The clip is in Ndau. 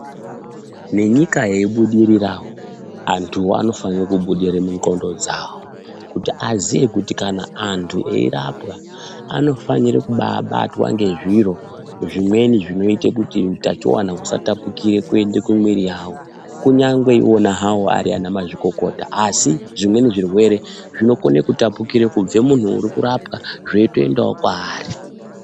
Nenyika yeyi budirirawo antu anofanire kubudirire munxondo dzavo kuti azive kuti antu eyirapwa anofanire kubatwa nezviro zvimweni zvinoita kuti utachiona usatapukire kuende kumuwiri wavo kunyangwe ona hawo ari ana mazvikokota asi zvimweni zvirwere zvinokone kutapukira kubve kumunhu uri kurapwa zveyiyotoendawo kwaari.